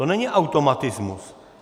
To není automatismus.